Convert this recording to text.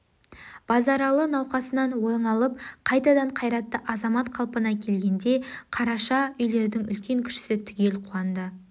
базаралы науқасынан оңалып қайтадан қайратты азамат қалпына келгенде қараша үйлердің үлкен-кішісі түгел қуанды